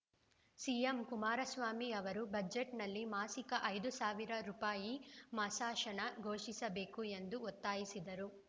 CM Kumaraswamy ಅವರು ಬಜೆಟ್‌ನಲ್ಲಿ ಮಾಸಿಕ ಐದು ಸಾವಿರ ರೂಪಾಯಿ ಮಾಸಾಶನ ಘೋಷಿಸಬೇಕು ಎಂದು ಒತ್ತಾಯಿಸಿದರು